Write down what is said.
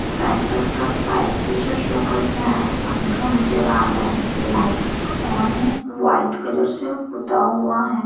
Red colour का pipe जैसा show कर रहा है पंखा नजर आ रहे है लाइट्स ऑन है व्हाइट कलर से पुता हुआ है।